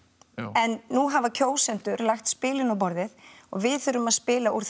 en nú hafa kjósendur lagt spilin á borðið og við þurfum að spila úr